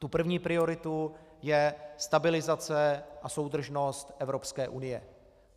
Tou první prioritou je stabilizace a soudržnost Evropské unie.